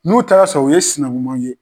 N'o taara sɔrɔ u ye sinamuma ye.